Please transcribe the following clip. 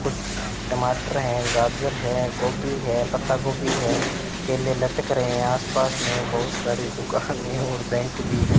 कुछ टमाटर हैं गाजर हैं गोभी है पत्ता गोभी है केले लटक रहे हैं आसपास में बहुत सारे दुकान हैं और बैंक भी हैं।